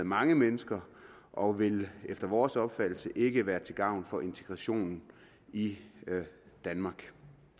mange mennesker og vil efter vores opfattelse ikke være til gavn for integrationen i danmark